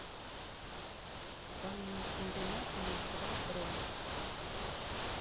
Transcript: банный комбинат номер два бронь